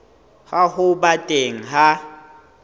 ya ho ba teng ha